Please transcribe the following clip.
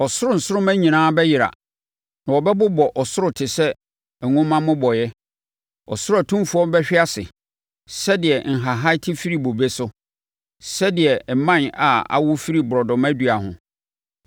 Ɔsoro nsoromma nyinaa bɛyera na wɔbɛbobɔ ɔsoro te sɛ nwoma mmobɔeɛ; ɔsoro atumfoɔ bɛhwe ase sɛdeɛ nhahan te firi bobe so, sɛdeɛ mman a awo firi borɔdɔma dua ho.